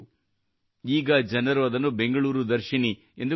ಈಗ ಜನರು ಅದನ್ನು ಬೆಂಗಳೂರು ದರ್ಶಿನಿ ಎಂದು ಕರೆಯುತ್ತಾರೆ